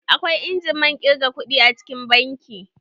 Akwai injimin ƙirga kuɗi a cikin banki.